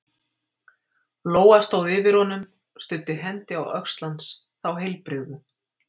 Lóa stóð yfir honum, studdi hendi á öxl hans- þá heilbrigðu